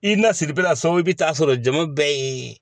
I nasiri bɛ na so i bɛ taa sɔrɔ jama bɛɛ ye